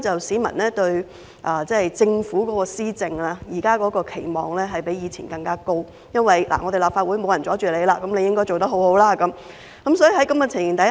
市民對政府施政的期望比以前更高，原因是立法會再沒有人妨礙政府，政府的表現應該很好。